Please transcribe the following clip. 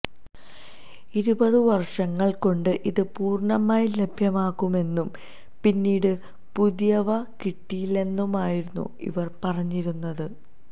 ഇരുപത് വര്ഷങ്ങള് കൊണ്ട് ഇത് പൂര്ണ്ണമായി ലഭ്യമാക്കുമെന്നും പിന്നീട് പുതിയവ കിട്ടില്ലെന്നുമായിരുന്നു ഇവര് പറഞ്ഞിരിന്നത്